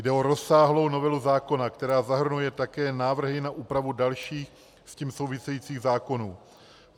Jde o rozsáhlou novelu zákona, která zahrnuje také návrhy na úpravy dalších s tím souvisejících zákonů.